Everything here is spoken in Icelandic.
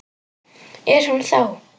Er hún þá.